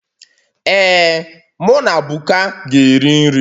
Ee, mụ na Buka ga-eri nri